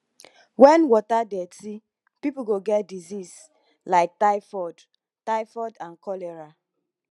when water dirty people go get disease like typhoid typhoid and cholera